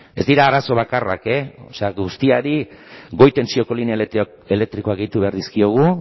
ez dira arazo bakarrak guztiari goi tentsioko linea elektrikoak gehitu behar dizkiegu